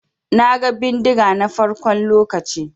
Na gan bindiga na farkon lokacin.